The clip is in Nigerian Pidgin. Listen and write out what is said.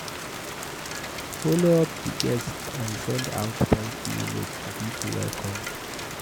Follow up di guests and send out thank you note to pipo wey come